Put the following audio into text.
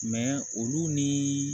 olu ni